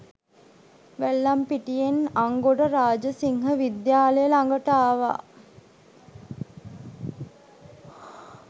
වැල්ලම්පිටියෙන් අංගොඩ රාජසිංහවිද්‍යාලය ළඟට ආවා